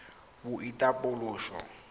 boitapoloso